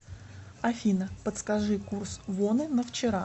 афина подскажи курс воны на вчера